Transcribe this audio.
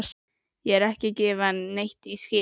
Ég er ekki að gefa neitt í skyn.